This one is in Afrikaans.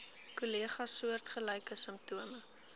kollegas soortgelyke simptome